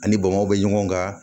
An ni bamakɔ bɛ ɲɔgɔn kan